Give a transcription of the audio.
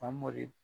Famori